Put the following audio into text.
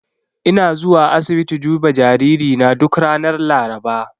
Ina zuwa asibiti duba jaririna duk ranar Laraba.